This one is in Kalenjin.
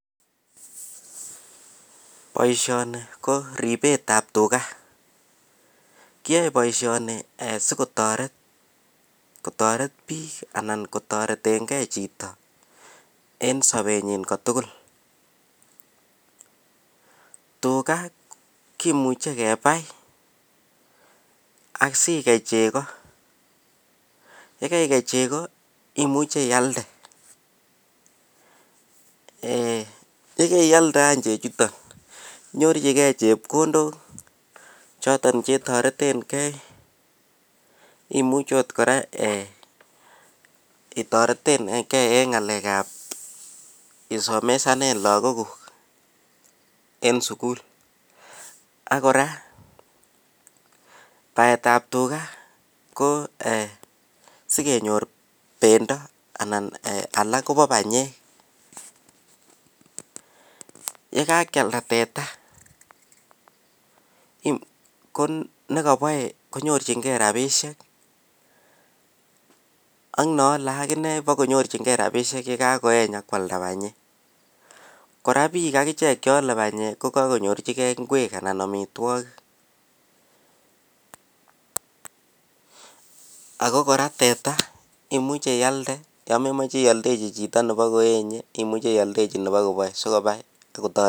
boishoni ko ribeet ab tuga, kiyoe boishoni sigotoret kotoret biik anan kotoretengee chito en sobenyin kotugul, tuga kimuche kebaai asigei chego yegegei chego imuche iyalde, yegaiyalda any chechuton inyorchigee chepkondook choton chetoretengee, imuche oot mora itoreten gee en ngaleek ab isomosanen lagook guuk en sugul, ak kora baet ab tuga ko eeh sigenyoor bendo anan alaak kobo banyeek, yegakyalda teta negoboe konyorchingee rabishek ak neole akinee bokonyorchingee rabishek yegakoeeny ak kwalda banyeek, kora biik ak ichek cheole banyeek kogagonyorchigee ingweek anan omitwogik, ago kora teta imuche iyalda yon memoche iyoldechi chito nebagoenye imuche iyoldechi chito nebagoboe sigobai sigotoret